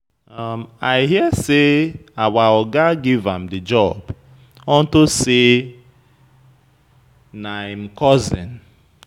I hear say our Oga give am the job unto say na him cousin.